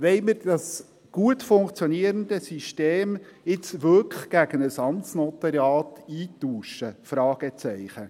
Wollen wir dieses gut funktionierende System jetzt wirklich gegen ein Amtsnotariat eintauschen, Fragezeichen?